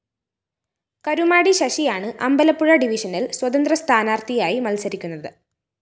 കരുമാടി ശശിയാണ് അമ്പലപ്പുഴ ഡിവിഷനില്‍ സ്വതന്ത്ര സ്ഥാനാര്‍ത്ഥിയായി മത്സരിക്കുന്നത്